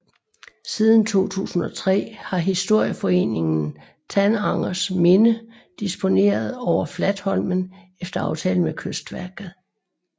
Siden 2003 har historieforeningen Tanangers Minne disponeret over Flatholmen efter aftale med Kystverket